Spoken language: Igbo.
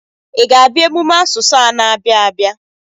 Ị ga-abịa emume asụsụ a na-abịa abịa.